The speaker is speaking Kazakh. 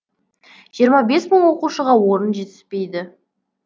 жиырма бес мың оқушыға орын жетіспейді